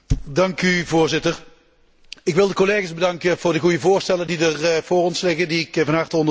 Voorzitter, ik wil de collega's bedanken voor de goede voorstellen die voor ons liggen en die ik van harte ondersteun.